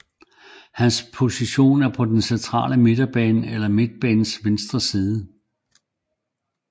Hans position er på den centrale midtbane eller i midtbanens venstre side